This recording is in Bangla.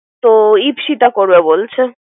তো ইতিথা করবে বলছে।